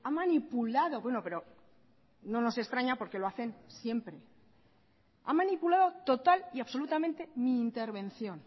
manipulado bueno pero no nos extraña porque lo hacen siempre ha manipulado total y absolutamente mi intervención